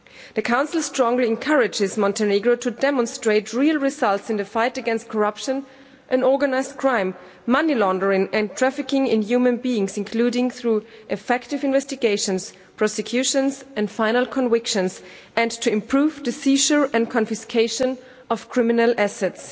The Council strongly encourages Montenegro to demonstrate real results in the fight against corruption and organised crime, money laundering and trafficking in human beings, including through effective investigations, prosecutions and final convictions, and to improve the seizure and confiscation of criminal assets.